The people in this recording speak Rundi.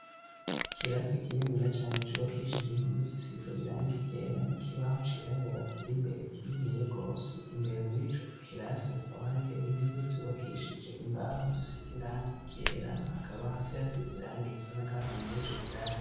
Kilasi ikinini ya cane cubakishije inpome zisiza iranga igera nikibaho ciraburakira imbere kinini ya gose imbere muri co kilasi hakaba hariyo intebe zubakishije imbaho zise zirangera hakaba hasi hasize iranga irisanagahama muri co kilasi.